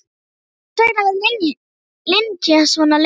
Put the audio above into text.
Hvers vegna var Linja svona lengi?